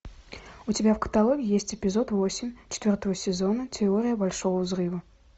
у тебя в каталоге есть эпизод восемь четвертого сезона теория большого взрыва